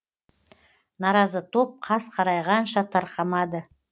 наразы топ қас қарайғанша тарқамады